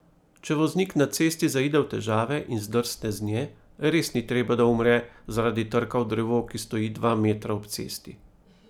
Če voznik na cesti zaide v težave in zdrsne z nje, res ni treba, da umre zaradi trka v drevo, ki stoji dva metra ob cesti.